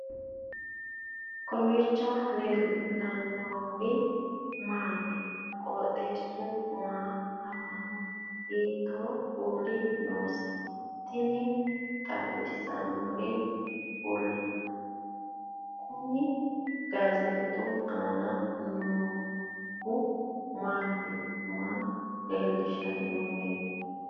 kowiicho leellannori maati ? qooxeessu maa lawaanno ? hiitoo kuuli leellanno ? tini xawissannori kuni gaazeexu aanna noorui maati maa leellishshannoreti